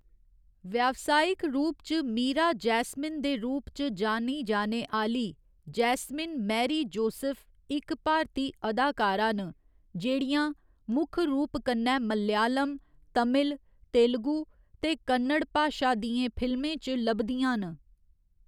व्यावसायिक रूप च मीरा जैस्मिन दे रूप च जानी जाने आह्‌‌‌ली जैस्मिन मैरी जोसेफ इक भारती अदाकारा न, जेह्‌‌ड़ियां मुक्ख रूप कन्नै मलयालम, तमिल, तेलुगू ते कन्नड़ भाशा दियें फिल्में च लभदियां न।